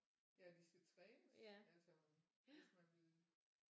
Ja de skal trænes altså hvis man vil